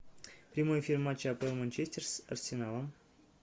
прямой эфир матча апл манчестер с арсеналом